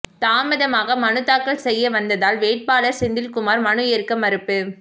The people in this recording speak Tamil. தாமதமாக மனு தாக்கல் செய்ய வந்ததால் வேட்பாளர் செந்தில்குமார் மனு ஏற்க மறுப்பு